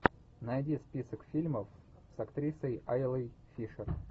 найди список фильмов с актрисой айлой фишер